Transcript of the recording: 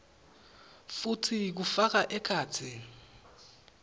futsi kufaka ekhatsi